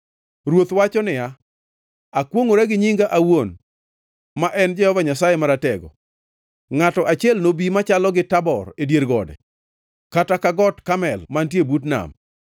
Ruoth wacho niya, “Akwongʼora gi nyinga awuon, ma en Jehova Nyasaye Maratego, ngʼato achiel nobi machalo gi Tabor e dier gode, kata ka Got Karmel mantie but nam.